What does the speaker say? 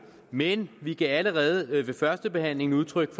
men vi gav allerede ved førstebehandlingen udtryk